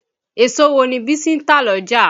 Èso wo ni Bísí ń tà l'ọ́jà?